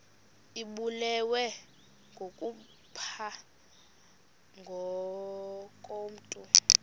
ibulewe kukopha ngokomntu